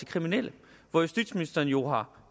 kriminelle hvor justitsministeren jo har